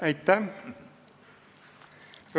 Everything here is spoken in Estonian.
Aitäh!